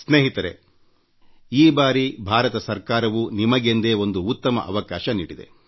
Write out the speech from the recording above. ಸ್ನೇಹಿತರೇ ಈ ಬಾರಿ ಭಾರತ ಸರ್ಕಾರವೂ ನಿಮಗೆಂದೇ ಒಂದು ಉತ್ತಮ ಅವಕಾಶ ನೀಡಿದೆ